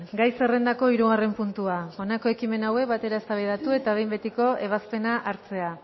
gai zerrendako hirugarren puntua honako ekimen hauek batera eztabaidatu eta behin betiko ebazpena hartzea